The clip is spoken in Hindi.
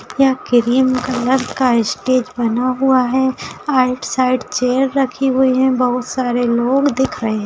यहाँ क्रीम कलर का स्टेज बना हुआ है आउट साइड चेयर रखी हुए है बहुत सारे लोग दिख रहे --